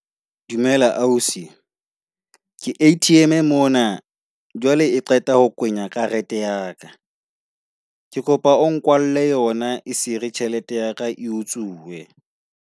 Dumela ausi. Ke A_T_M e mona. Jwale E qeta ho kwenya karete ya ka. Ke kopa o nkwalelle yona e sere tjhelete ya ka e utsuwe.